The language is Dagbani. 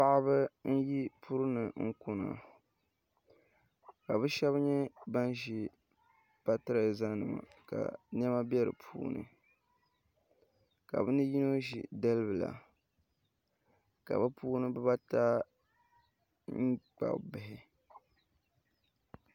Paɣaba n yi puri ni kuna ka bi shab nyɛ ban ʒi patirɛza nima ka niɛma bɛ di puuni ka bi ni yino ʒi dalibila ka bi puuni bibata kpabi bihi